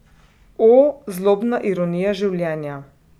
O, zlobna ironija življenja!